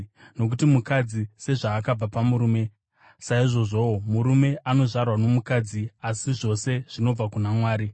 Nokuti mukadzi sezvaakabva pamurume, saizvozvowo murume anozvarwa nomukadzi asi zvose zvinobva kuna Mwari.